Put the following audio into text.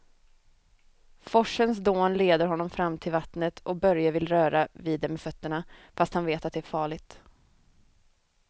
Forsens dån leder honom fram till vattnet och Börje vill röra vid det med fötterna, fast han vet att det är farligt.